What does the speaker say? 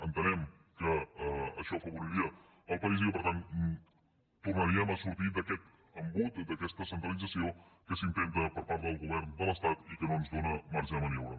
entenem que això afavoriria el país i que per tant tornaríem a sortir d’aquest embut d’aquesta centralització que s’intenta per part del govern de l’estat i que no ens dóna marge de maniobra